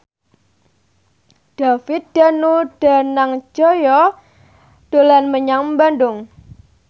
David Danu Danangjaya dolan menyang Bandung